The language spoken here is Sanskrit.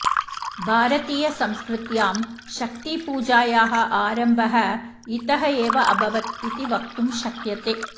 भारतीयसंस्कृत्यां शक्तिपूजायाः आरम्भः इतः एव अभवत् इति वक्तुं शक्यते